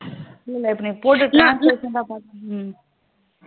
இல்ல இல்ல இப்போ நீ போட்ட translation பாத்துடு இருந்தேன்